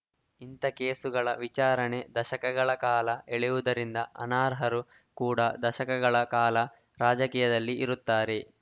ಇಂಥ ಕೇಸುಗಳ ವಿಚಾರಣೆ ದಶಕಗಳ ಕಾಲ ಎಳೆಯುವುದರಿಂದ ಅನಾರ್ಹರು ಕೂಡಾ ದಶಕಗಳ ಕಾಲ ರಾಜಕೀಯದಲ್ಲಿ ಇರುತ್ತಾರೆ